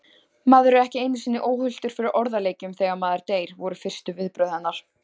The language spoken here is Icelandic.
Maður er ekki einu sinni óhultur fyrir orðaleikjum þegar maður deyr, voru fyrstu viðbrögð hennar.